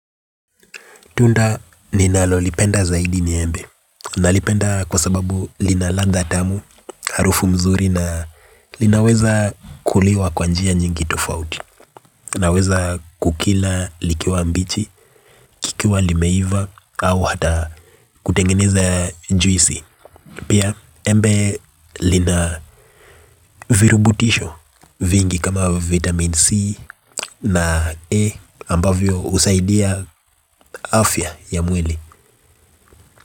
Tunda ninalolipenda zaidi ni embe. Nalipenda kwa sababu lina ladha tamu, harufu mzuri na linaweza kuliwa kwa njia nyingi tofauti. Naweza kukila likiwa mbichi, kikiwa limeiva au hata kutengeneza juisi. Pia embe lina virutubisho vingi kama vitamin C na E ambavyo husaidia afya ya mwili.